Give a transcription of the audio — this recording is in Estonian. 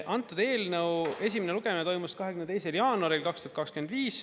Antud eelnõu esimene lugemine toimus 22. jaanuaril 2025.